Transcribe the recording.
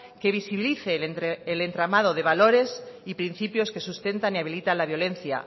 que visibilice el entramado de valores y principios que sustentan y habilitan la violencia